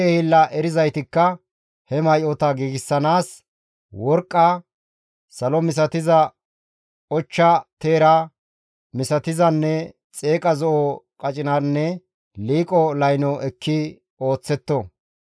Kushe hiillateth erizaytikka he may7ota giigsanaas, worqqa, salo misatiza, ochcha teera misatizanne xeeqa zo7o qacinanne liiqo layno ekki ooththetto.